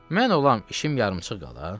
Mən olam, işim yarımçıq qala?